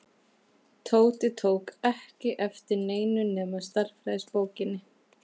Tóti tók ekki eftir neinu nema stærðfræðibókinni.